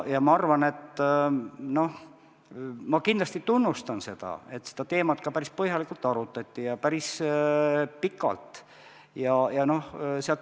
Ma kindlasti tunnustan seda, et seda teemat päris põhjalikult ja päris pikalt arutati.